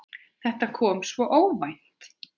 Þetta kom svo óvænt.